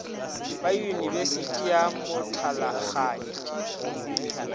ba yunibesithi ya motlalakganya go